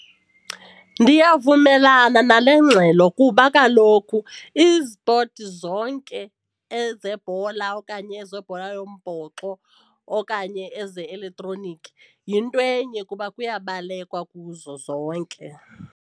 Ndiyavumelana nale ngxelo kuba kaloku izipoti zonke ezebhola okanye ezebhola yombhoxo okanye eze-elektroniki yinto enye kuba kuyabalekwa kuzo zonke.